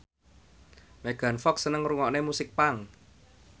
Megan Fox seneng ngrungokne musik punk